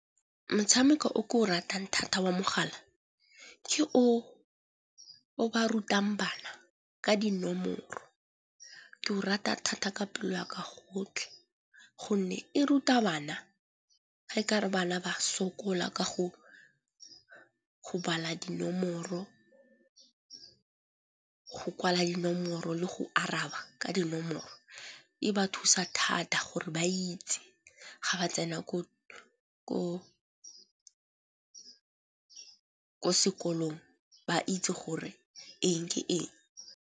Motshameko o ke o ratang thata wa mogala ke o o ba rutang bana ka dinomoro. Ke o rata thata ka pelo ya ka yotlhe gonne e ruta bana ga e ka re bana ba sokola ka go bala dinomoro, go kwala dinomoro le go araba ka dinomoro. E ba thusa thata gore ba itse ga ba tsena ko sekolong ba itse gore eng ke eng.